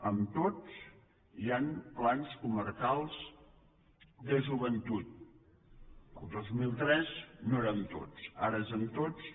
en tots hi han plans comarcals de joventut el dos mil tres no era en tots ara és en tots